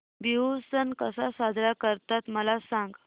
बिहू सण कसा साजरा करतात मला सांग